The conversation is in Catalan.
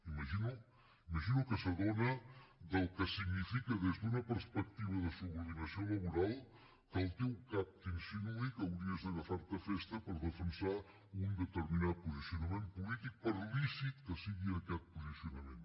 m’imagino que s’adona del que significa des d’una perspectiva de subordinació laboral que el teu cap t’insinuï que hauries d’agafar te festa per defensar un determinat posicionament polític per lícit que sigui aquest posicionament